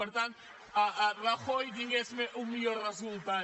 per tant rajoy tingués un millor resultat